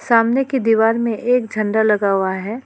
सामने की दीवार में एक झंडा लगा हुआ है।